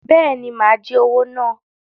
Bẹẹni, má jí owo náà